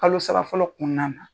Kalo saba fɔlɔ kɔnɔna na.